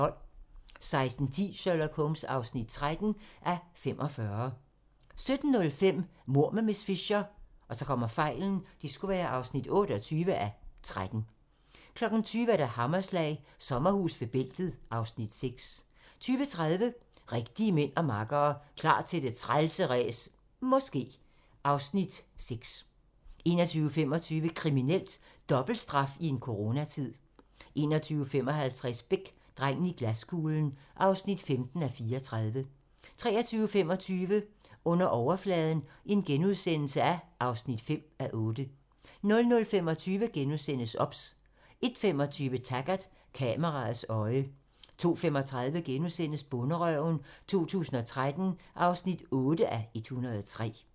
16:10: Sherlock Holmes (13:45) 17:05: Mord med miss Fisher (28:13) 20:00: Hammerslag - Sommerhus ved bæltet (Afs. 6) 20:30: Rigtige mænd og makkere - Klar til det trælse ræs - måske... (Afs. 6) 21:25: Kriminelt: Dobbelt straf i en coronatid 21:55: Beck: Drengen i glaskuglen (15:34) 23:25: Under overfladen (5:8)* 00:25: OBS * 01:25: Taggart: Kameraets øje 02:35: Bonderøven 2013 (8:103)*